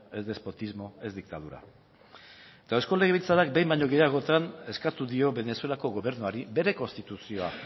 es despotismo es dictadura eta eusko legebiltzarrak behin baino gehiagotan eskatu dio venezuelako gobernuari bere konstituzioa